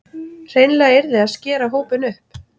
Hreinlega yrði að skera hópinn upp